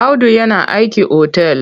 Audu yana aiki otal.